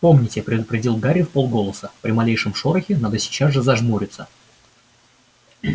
помните предупредил гарри вполголоса при малейшем шорохе надо сейчас же зажмуриться